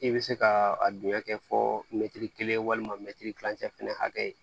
I bɛ se ka a dingɛ kɛ fɔ mɛti kelen walima kilancɛ fɛnɛ hakɛ